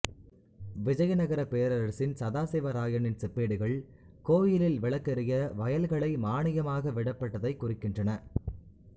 விஜயநகரப் பேரரசின் சதாசிவ ராயனின் செப்பேடுகள் கோயிலில் விளக்கெரிய வயல்களை மாணியமாக விடப்பட்டதைக் குறிக்கின்றன